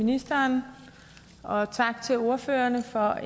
ministeren og tak til ordførerne for